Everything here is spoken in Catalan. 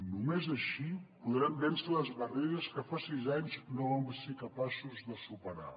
només així podrem vèncer les barreres que fa sis anys no vam ser capaços de superar